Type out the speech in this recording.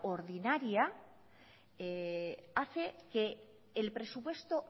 ordinaria hace que el presupuesto